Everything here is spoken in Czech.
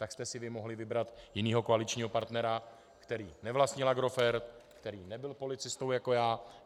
Tak jste si vy mohli vybrat jiného koaličního partnera, který nevlastnil Agrofert, který nebyl policistou jako já.